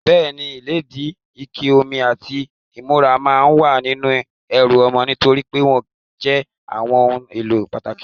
Bẹ́ẹ̀ni, ìlédìí, ike omi, àti ìnura máa wà nínú ẹrù ọmọ nitori pe wọn jẹ́ àwọn ohun èlò pàtàkì.